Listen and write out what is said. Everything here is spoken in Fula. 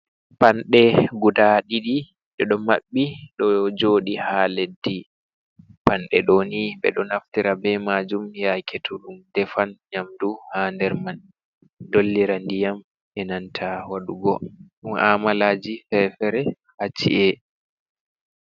Panɗe, guda ɗidi ɗeɗon mabbi ɗo jodi ha leddi, panɗe ɗoni ɓeɗon naftira be majum yake toɗum defan nyamdu ha nder man, dollira ndiyam enanta waɗugo mu ahmalaji fefere ha ci'e.